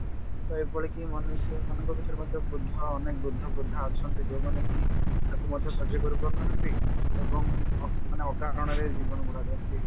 ତ ଏଭଳିକି ମନୁଷ୍ୟ ମାନଙ୍କ ଭିତରେ ମଧ୍ୟ ବୃଦ୍ଧ ଅନେକ ବୃଦ୍ଧ ବୃଦ୍ଧା ଅଛନ୍ତି ଯାଉମାନେ କି ଆକୁ ମଧ୍ୟ ସଜ୍ୟ କରିପାରୁନାହାନ୍ତି ଏବଂ ଅ ମାନେ ଅକାରଣରେ ଜୀବନ ଗୁଡାକ ଏମତି